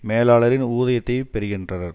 மேலாளரின் ஊதியத்தையும் பெறுகின்றனர்